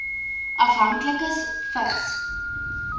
afhanklikes vigs